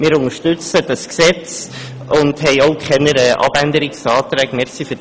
Wir unterstützen dieses Gesetz und haben auch keine Abänderungsanträge.